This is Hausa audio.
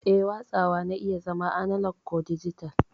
Eh, watsawa na iya zama analog ko dijital.